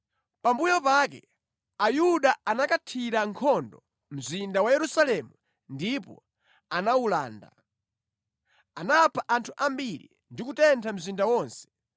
Pambuyo pake Ayuda anakathira nkhondo mzinda wa Yerusalemu ndipo anawulanda. Anapha anthu ambiri ndi kutentha mzinda wonse.